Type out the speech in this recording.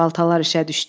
Baltalar işə düşdü.